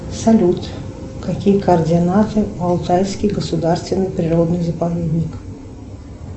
салют какие координаты алтайский государственный природный заповедник